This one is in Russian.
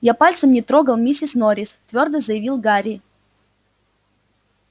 я пальцем не трогал миссис норрис твёрдо заявил гарри